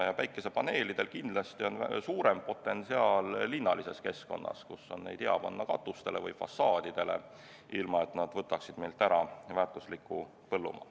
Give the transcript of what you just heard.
Päikesepaneelidel on kindlasti suurem potentsiaal linnalises keskkonnas, kus neid on hea panna katustele või fassaadidele, ilma et nad võtaksid meilt ära väärtusliku põllumaa.